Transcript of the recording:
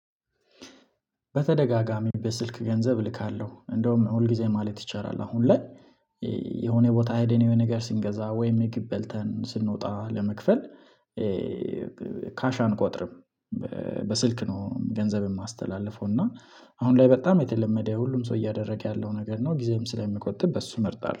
በተደጋጋሚ በስልክ ገንዘብ ልካለሁ እንደውም ሁል ጊዜ ማለት ይቻላል አሁን ላይ የሆነ ቦታ ሄደን የሆነ ነገር ስንገዛ ወይም የምግብ በልተን ስንወጣ ለመክፈል። ካሽ አንቆጥርም። በስልክ ነው ገንዘብም አማስተላልፎ እና አሁን ላይ በጣም የተለመደ ሁሉም ሰው እያደረገ ያለው ነገር ነው። ጊዜም ስለሚቆጥብ በሱ እመርጣለሁ